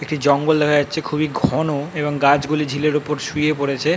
একটি জঙ্গল দেখা যাচ্ছে খুবই ঘন এবং গাছগুলি ঝিলের ওপর শুয়ে পড়েছে।